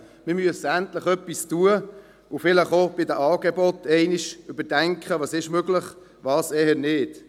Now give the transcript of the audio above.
Wir müssen endlich etwas tun und vielleicht auch bei den Angeboten überdenken, was möglich ist und was eher nicht.